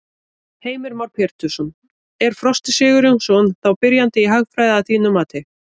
Heimir Már Pétursson: Er Frosti Sigurjónsson þá byrjandi í hagfræði að þínu mati?